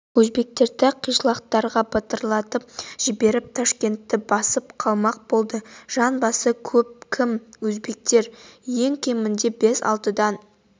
өзбектерді қишлақтарға бытыратып жіберіп ташкентті басып қалмақ болды жан басы көп кім өзбектер ең кемінде бес-алтыдан